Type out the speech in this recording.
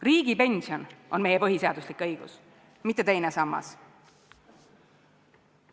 Riigipension on meie põhiseaduslik õigus, mitte teine sammas.